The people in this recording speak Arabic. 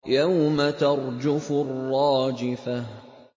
يَوْمَ تَرْجُفُ الرَّاجِفَةُ